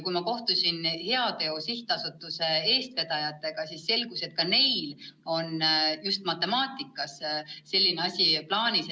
Kui ma kohtusin Heateo Sihtasutuse eestvedajatega, siis selgus, et ka neil on just matemaatikas selline asi plaanis.